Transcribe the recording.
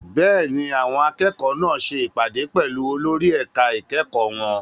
Bẹ́ẹ̀ni, àwọn akẹ́kọ̀ọ́ náà ṣe ìpàdé pẹ̀lú olórí ẹ̀ka ìkẹ́kọ̀ọ́ wọn.